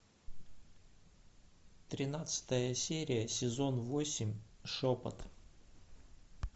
тринадцатая серия сезон восемь шепот